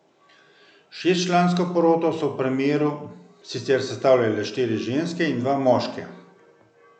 Šestčlansko poroto v primeru so sicer sestavljale štiri ženske in dva moška.